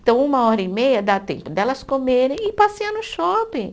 Então, uma hora e meia dá tempo delas comerem e passear no shopping.